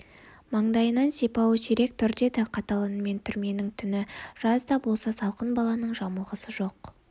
маңдайынан сипауы сирек тұр деді қатал үнмен түрменің түні жаз да болса салқын баланың жамылғысы жоқ